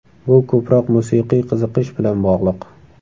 Bu ko‘proq musiqiy qiziqish bilan bog‘liq.